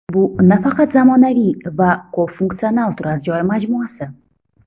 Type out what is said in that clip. Bu nafaqat zamonaviy va ko‘p funksional turar joy majmuasi.